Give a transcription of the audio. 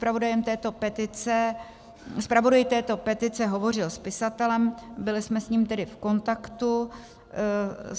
Zpravodaj této petice hovořil s pisatelem, byli jsme s ním tedy v kontaktu.